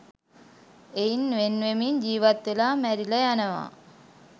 එයින් වෙන්වෙමින් ජීවත් වෙලා මැරිල යනවා.